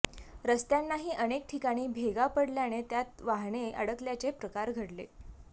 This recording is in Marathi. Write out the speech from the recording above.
रस्त्यांनाही अनेक ठिकाणी भेगा पडल्याने त्यात वाहने अडकल्याचे प्रकार घडले